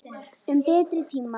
Um betri tíma.